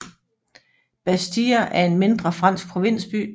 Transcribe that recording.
Bastia er en mindre fransk provinsby